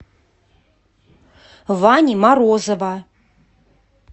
вани морозова